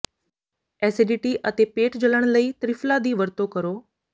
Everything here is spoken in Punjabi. ਐਸਿਡਿਟੀ ਅਤੇ ਪੇਟ ਜਲਣ ਲਈ ਤ੍ਰਿਫਲਾ ਦੀ ਵਰਤੋਂ ਕਰੋ